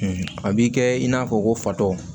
a b'i kɛ i n'a fɔ ko fatɔ